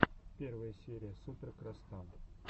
первая серия супер крастан